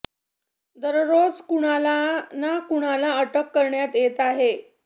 दररोज कुणाला ना कुणाला अटक करण्यात येत आहे